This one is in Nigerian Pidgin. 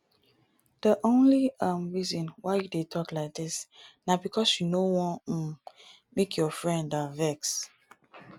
the only um reason why you dey talk like dis na because you no wan um make your friend um vex